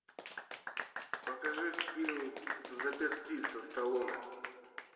покажи фильм взаперти со сталлоне